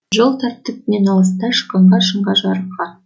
жол тартып мен алыста шыққанда шыңға жарыққа